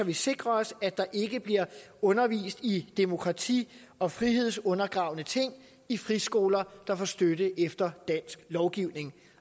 vi sikrer os at der ikke bliver undervist i demokrati og frihedsundergravende ting i friskoler der får støtte efter dansk lovgivning